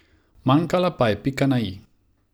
Manjkala pa je pika na i.